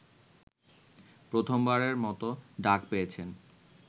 প্রথমবারের মতো ডাক পেয়েছেন